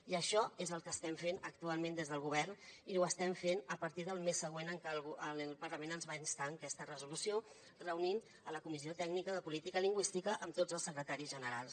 i això és el que estem fent actualment des del govern i ho estem fent a partir del mes següent en que el parlament ens hi va instar en aquesta resolució reunint la comissió tècnica de política lingüística amb tots els secretaris generals